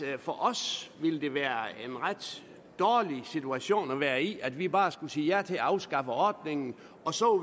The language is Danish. det for os vil det være en ret dårlig situation at være i at vi bare skulle sige ja til at afskaffe ordningen og så